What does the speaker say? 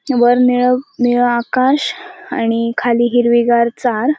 वर निळं निळं आकाश आणि खाली हिरवी गार चार--